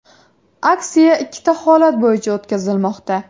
Aksiya ikkita holat bo‘yicha o‘tkazilmoqda.